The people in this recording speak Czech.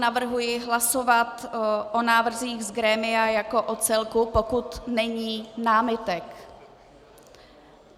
Navrhuji hlasovat o návrzích z grémia jako o celku, pokud není námitek.